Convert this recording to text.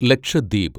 Lakshadweep